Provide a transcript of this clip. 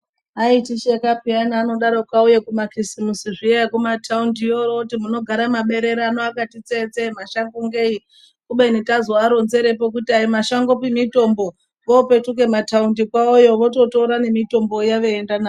Aitisheka peyani anodarokwo auya kuma kisimusi zviya ekumataundiyo. Oti munogara maberere ano akati tsee tsee mashango ngei? Kubeni tazoaronzerepo kuti aimashangopi mitombo vopetuka mataundi kwavo yo vototora nemitombo iya veienda nayo.